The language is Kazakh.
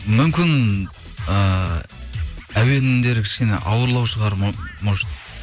мүмкін ыыы әуендері кішкене ауырлау шығар может